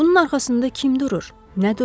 Bunun arxasında kim durur, nə durur?